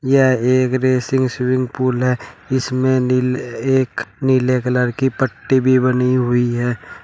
यह एक racing swimming pool है इसमें नीले एक नीले कलर की पट्टी भी बनी हुई है।